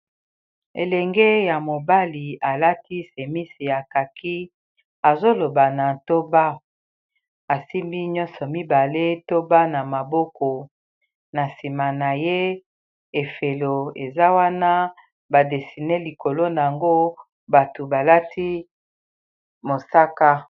Elenge ya mobali alati semisi ya kaki azoloba na toba asimbi nyonso mibale toba na maboko na nsima na ye efelo eza wana ba desine likolo na yango batu balati mosaka.